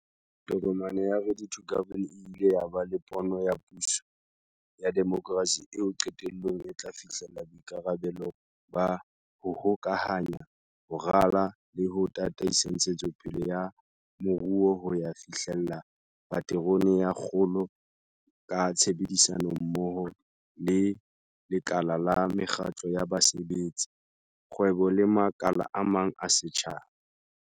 Tokomane ya 'Ready to Govern' e ile ya ba le pono ya puso ya demokrasi eo qetellong e tla fihlella boikarabelo ba 'ho hokahanya, ho rala le ho tataisa ntshetsopele ya moruo ho ya fihlella paterone ya kgolo ka tshebedisanommoho le lekala la mekgatlo ya basebetsi, kgwebo le makala a mang a setjhaba.